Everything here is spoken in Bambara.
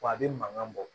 Wa a bɛ mankan bɔ